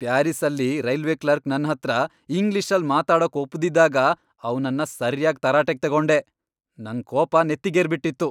ಪ್ಯಾರಿಸ್ಸಲ್ಲಿ railway clerk ನನ್ಹತ್ರ ಇಂಗ್ಲಿಷಲ್ಲ್ ಮಾತಾಡೋಕ್ ಒಪ್ದಿದ್ದಾಗ ಅವ್ನನ್ನ ಸರ್ಯಾಗ್ ತರಾಟೆಗ್ ತಗೊಂಡೆ, ನಂಗ್ ಕೋಪ ನೆತ್ತಿಗೇರ್ಬಿಟಿತ್ತು.